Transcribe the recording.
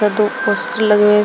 यहाँ तो पोस्टर लगे हुए--